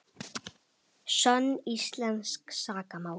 Sönn íslensk sakamál